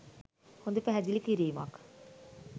හොඳ පැහැදිලි කිරීමක්.